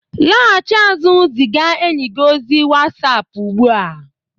laghachi azụ ziga enyi gị ozi whatsapp ugbu a